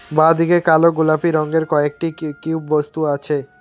বাঁদিকে কালো গোলাপি রঙ্গের কয়েকটি কি কিউব বস্তু আছে।